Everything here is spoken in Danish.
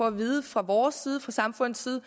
at vide fra vores side fra samfundets side